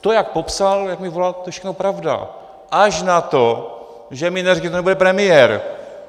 To, jak popsal, jak mi volal, to je všechno pravda, až na to, že mi neřekl, že tu nebude premiér.